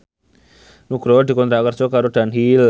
Nugroho dikontrak kerja karo Dunhill